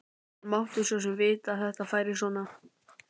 Hann mátti svo sem vita að þetta færi svona.